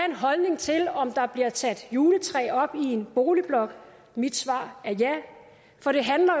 en holdning til om der bliver sat juletræ op i en boligblok mit svar er ja for det handler